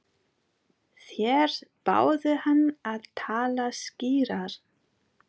Þeir báðu hann að tala skýrar.